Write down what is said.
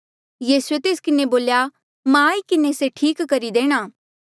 यीसूए तेस किन्हें बोल्या मां आई किन्हें से ठीक करी देणा